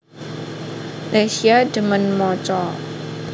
Lesya dhemen maca